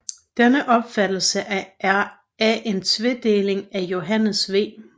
Denne opfattelse af en tvedeling af Johannes V